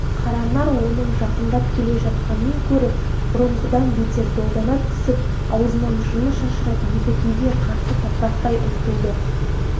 қаранар оның жақындап келе жатқанын көріп бұрынғыдан бетер долдана түсіп аузынан жыны шашырап едігеге қарсы тапырақтай ұмтылды